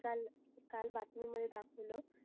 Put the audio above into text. काल काल बातमी मध्ये दाखवल